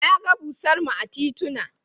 Na ga bursar mu a titina.